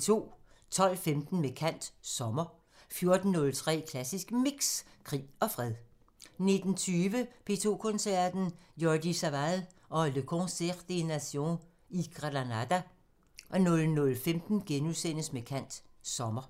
12:15: Med kant – Sommer 14:03: Klassisk Mix – Krig og fred 19:20: P2 Koncerten – Jordi Savall og Le Concert des Nations i Granada 00:15: Med kant – Sommer *